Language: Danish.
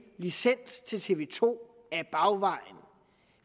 licens til tv to ad bagvejen